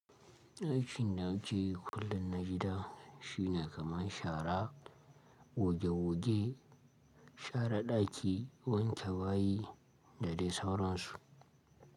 Aikin danakeyi kullum na gida shine kamar shara goge goge, share ɗaki, wanke bayi da dai sauransu.